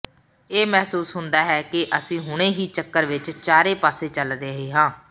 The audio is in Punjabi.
ਇਹ ਮਹਿਸੂਸ ਹੁੰਦਾ ਹੈ ਕਿ ਅਸੀਂ ਹੁਣੇ ਹੀ ਚੱਕਰ ਵਿੱਚ ਚਾਰੇ ਪਾਸੇ ਚੱਲ ਰਹੇ ਹਾਂ